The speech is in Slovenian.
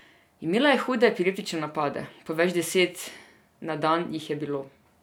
Imela je hude epileptične napade, po več deset na dan jih je bilo.